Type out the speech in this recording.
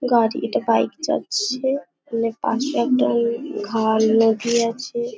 গাড়ি এটা বাইক যাচ্ছে। অনেক পাশে একটা উম খাল নদী আছে।